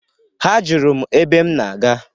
Ha Jụrụ m ebe m na-aga.